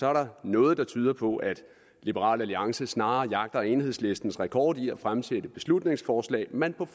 er der noget der tyder på at liberal alliance snarere jagter enhedslistens rekord i at fremsætte beslutningsforslag man på